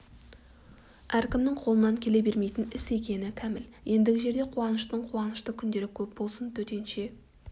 әркімнің қолынан келе бермейтін іс екені кәміл ендігі жерде қуаныштың қуанышты күндері көп болсын төтенше